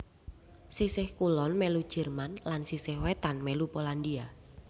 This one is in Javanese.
Sisih kulon mèlu Jerman lan sisih wétan mèlu Polandia